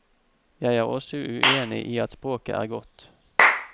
Jeg er også uenig i at språket er godt.